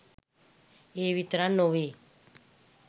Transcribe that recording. ඒ විතරක් නොවෙයි.